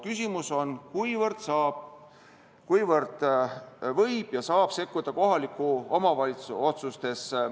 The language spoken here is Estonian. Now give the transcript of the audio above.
Küsimus on, kuivõrd võib ja saab sekkuda kohaliku omavalitsuse otsustesse.